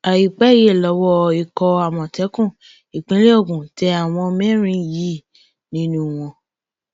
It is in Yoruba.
àìpẹ yìí lowó ikọ àmọtẹkùn ìpínlẹ ogun tẹ àwọn mẹrin yìí nínú wọn